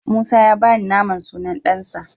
Musa ya bani naman sunan ɗansa.